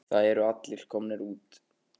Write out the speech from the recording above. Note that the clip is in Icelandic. Það eru allir komnir út.